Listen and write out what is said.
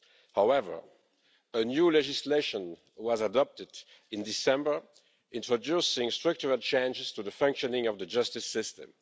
However, new legislation was adopted in December introducing structural changes to the functioning of the justice system.